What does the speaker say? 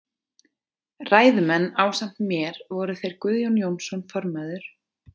Ræðumenn ásamt mér voru þeir Guðjón Jónsson formaður